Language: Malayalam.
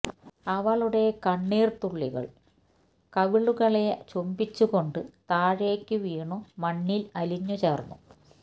അവളുടെ കണ്ണീർ തുള്ളികൾ കവിളുകളെ ചുംബിച്ചു കൊണ്ടു താഴേക്കു വീണു മണ്ണിൽ അലിഞ്ഞു ചേർന്നു